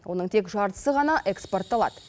оның тек жартысы ғана экспортталады